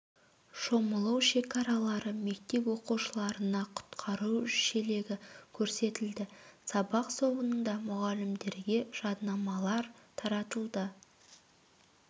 шомылу шекаралары мектеп оқушыларына құтқару шелегі көрсетілді сабақ соңында мұғалімдерге жадынамалар таратылды